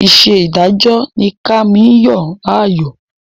Iṣẹ́ adájọ́ ni Kànmí yàn láàyò